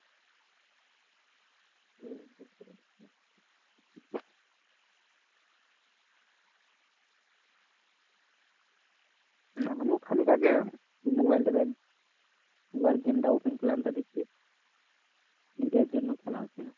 আমিও খানিক আগে mobile টাতে একবার game টা open করলাম তা দেখছি net এর জন্য খেলা হচ্ছে না।